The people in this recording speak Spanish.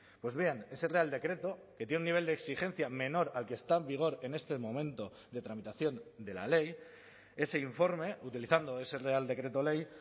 pues bien ese real decreto que tiene un nivel de exigencia menor al que está en vigor en este momento de tramitación de la ley ese informe utilizando ese real decreto ley